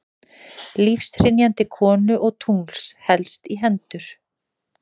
Lífshrynjandi konu og tungls helst í hendur.